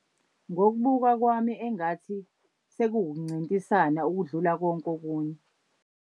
Ngokubuka kwami engathi sekuwukuncintisana okudlula konke okunye.